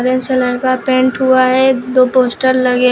paint हुआ है दो पोस्टर लगे--